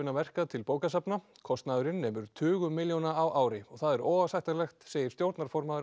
verka til bókasafna kostnaðurinn nemur tugum milljóna á ári óásættanlegt segir stjórnarformaður